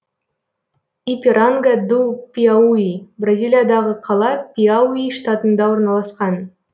ипиранга ду пиауи бразилиядағы қала пиауи штатында орналасқан